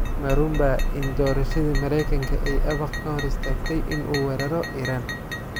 Ma runbaa in doorashadii Maraykanka ay Abaq ka hor istaagtay in uu weeraro Iran?